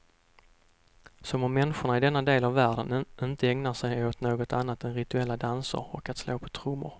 Som om människorna i denna del av världen inte ägnar sig åt något annat än rituella danser och slå på trummor.